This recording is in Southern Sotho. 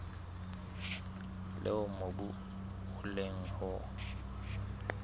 leo mobu o leng ho